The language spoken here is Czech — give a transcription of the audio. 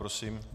Prosím.